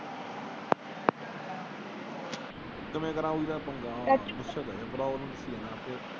ਕਿਵੇਂ ਕਰਾ ।